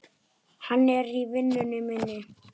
Hann er vinur minn.